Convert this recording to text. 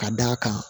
Ka d'a kan